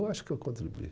Eu acho que eu contribuí.